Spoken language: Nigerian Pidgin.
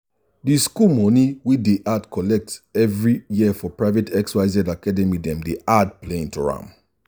the school money wey dey collect every year for private xyz academydem dey add playing to am.